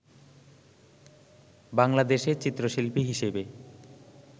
বাংলাদেশে চিত্রশিল্পী হিসেবে